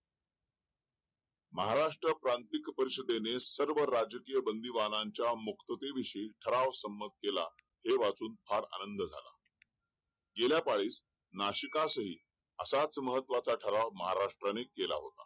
महाराष्ट्र प्रांतिक परिषदेने सर्व राजकीय बंदीवानांच्या मुक्ततेविषयी ठराव संमत केला हे वाचून फार आनंद झाला गेल्या पाळीस नाशिकासही असाच महत्वाचा ठराव महाराष्ट्राने केला होता